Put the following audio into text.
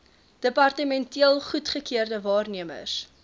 departementeel goedgekeurde waarnemers